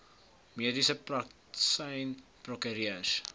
mediese praktisyns prokureurs